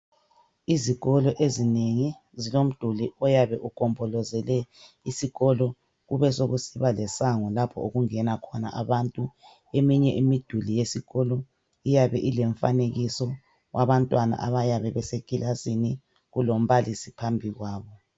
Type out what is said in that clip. Izikolo ezinengi zilomduli oyabe ugombolozele isikolo besekusiba lesango lapho okungena khona abantu. Eminye imiduli yesikolo iyabe ilemfanekiso wabantwana abayabe besekilasini kulombalisi phambi kwabo.